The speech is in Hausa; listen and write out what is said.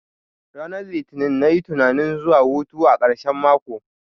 Ranar litini nayi tunanin zuwa hutu a karshen mako